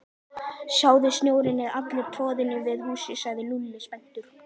Sjáðu, snjórinn er allur troðinn við húsið sagði Lúlli spenntur.